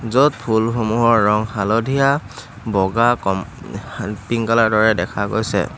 য'ত ফুলসমূহৰ ৰং হালধীয়া বগা ক উম পিংক কালাৰৰ দৰে দেখা গৈছে।